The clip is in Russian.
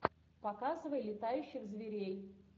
показывай летающих зверей